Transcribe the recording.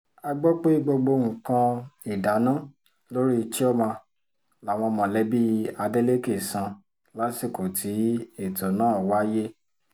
a gbọ́ pé gbogbo nǹkan ìdáná lórí chioma làwọn mọ̀lẹ́bí adeleke san lásìkò tí ètò náà wáyé